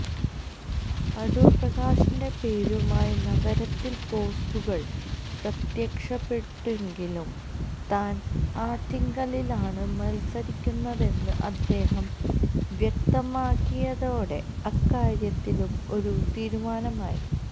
അടൂര് പ്രകാശിന്റെ പേരുമായി നഗരത്തില് പോസ്റ്ററുകള് പ്രത്യക്ഷപ്പെട്ടെങ്കിലും താന് ആറ്റിങ്ങലിലാണ് മത്സരിക്കുന്നതെന്ന് അദ്ദേഹം വ്യക്തമാക്കിയതോടെ അക്കാര്യത്തിലും ഒരു തീരുമാനമായി